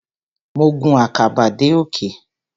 Mo gun àkàbà dé òkè.